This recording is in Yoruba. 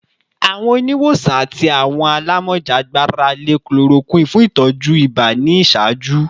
Awọn oniwosan ati awọn alamọja gbarale chloroquine fun itọju iba ni iṣaaju